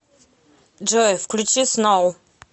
джой включи сноу